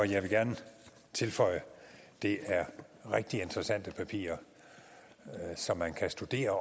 jeg vil gerne tilføje at det er rigtig interessante papirer som man kan studere